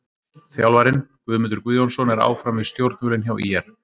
Þjálfarinn: Guðmundur Guðjónsson er áfram við stjórnvölinn hjá ÍR.